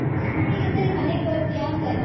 ದೀಪಾವಳಿಗ ಈ ಸರಿ ಮನೆಗ ಬರ್ತೀಯಾ ಅಂದೆ?